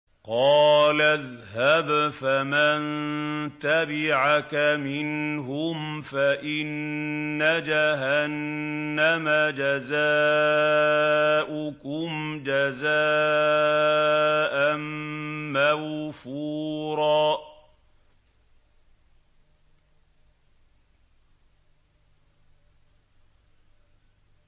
قَالَ اذْهَبْ فَمَن تَبِعَكَ مِنْهُمْ فَإِنَّ جَهَنَّمَ جَزَاؤُكُمْ جَزَاءً مَّوْفُورًا